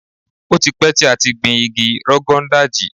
Ó ti pẹ́ tí a ti gbin igi Rogon Daji.